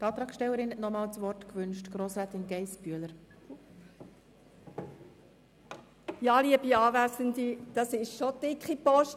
Die Antragstellerin, Grossrätin Geissbühler, wünscht das Wort nochmals.